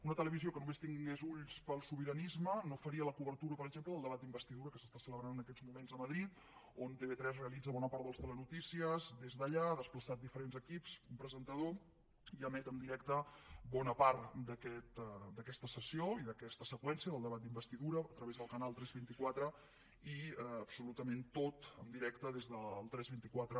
una televisió que només tingués ulls pel sobiranisme no faria la cobertura per exemple del debat d’investidura que s’està celebrant en aquests moments a madrid on tv3 realitza bona part dels telenotícies des d’allà hi ha desplaçat diferents equips un presentador i emet en directe bona part d’aquesta sessió i d’aquesta seqüència del debat d’investidura a través del canal tres vint quatre i absolutament tot en directe des del tres cents i vint quatre